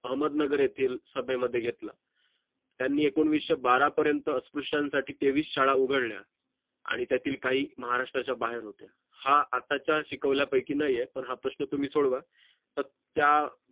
अहमदनगर येथील सभेमध्ये घेतला त्यांनी एकोणविशे बारा पर्यंत स्पष्ट यांसाठी तेवीस शाळा उघडल्या आणि त्यातील काही महाराष्ट्राच्या बाहेर होते हा आताच्या शिकवल्यापैकी नाहीये पण हा प्रश्न तुम्ही सोडवा तर त्या